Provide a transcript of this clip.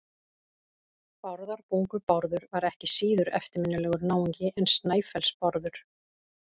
Bárðarbungu-Bárður var ekki síður eftirminnilegur náungi en Snæfellsnes-Bárður.